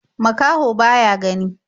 Makaho ba ya gani.